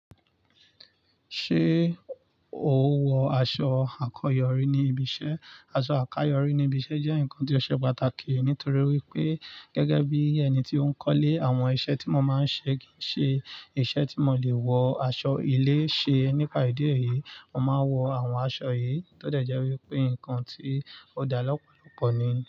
Ṣé o wọ aṣọ àkọ́yọrí ní ibiṣẹ́? Aṣọ àkayọrí ní ibiṣẹ́ jẹ́ nǹkan tí ó ṣe pàtàkì, nítorí wi pé gẹ́gẹ́ bí ẹni tí ó ń kọ́lé, àwọn iṣẹ́ tí mo máa ń ṣe kì í ṣe iṣẹ́ tí mo lè wọ aṣọ ilé ṣe. Nípa ìdí èyí, mo máa ń wọ àwọn aṣọ yìí, tódẹ̀ jẹ́ wípé nǹkan tí ó dá lọ́pọ̀lọpọ̀ ni.